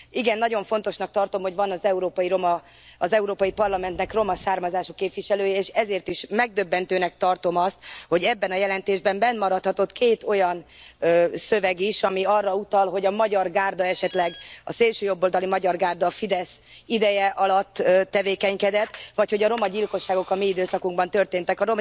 Igen, nagyon fontosnak tartom, hogy van az Európai Parlamentnek roma származású képviselője, és ezért is megdöbbentőnek tartom azt, hogy ebben a jelentésben benne maradhatott két olyan szöveg is, ami arra utal, hogy a szélsőjobboldali Magyar Gárda esetleg a Fidesz ideje alatt tevékenykedett, vagy hogy a romagyilkosságok a mi időszakunkban történtek.